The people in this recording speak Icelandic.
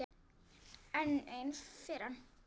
Enn ein firran.